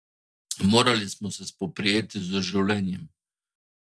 Morali smo se spoprijeti z življenjem.